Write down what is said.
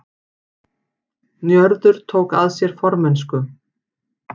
Njörður tók að sér formennsku